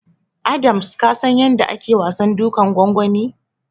Adams ka san yanda ake wasan dukan gwangwani?